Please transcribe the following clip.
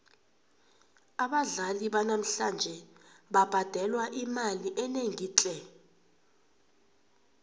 abadlali banamhlanje babhadelwa imali enengi tle